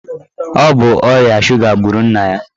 Ọ bụ ọrịa suga gburu nna ya.